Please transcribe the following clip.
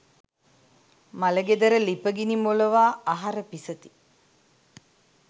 මළගෙදර ළිපගිනි මොළවා අහර පිසති.